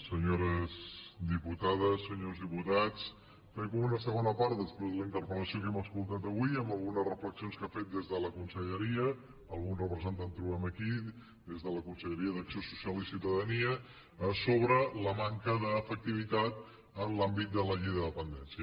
senyores diputades senyors diputats fem com una segona part després de la interpel·lació que hem escoltat avui amb algunes reflexions que han fet des de la conselleria alguns representants en trobem aquí d’acció social i ciutadania sobre la manca d’efectivitat en l’àmbit de la llei de dependència